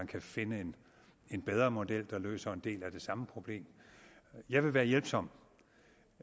kan finde en bedre model der løser en del af det samme problem jeg vil være hjælpsom